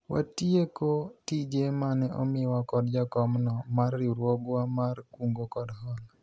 watieko tije mane omiwa kod jakom no mar riwruogwa mar kungo kod hola